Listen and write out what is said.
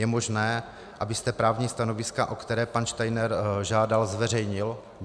Je možné, abyste právní stanoviska, o která pan Steiner žádal, zveřejnil?